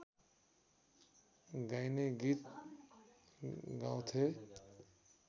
गाईने गीत गाउँथे